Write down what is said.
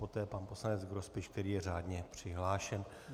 Poté pan poslanec Grospič, který je řádně přihlášen.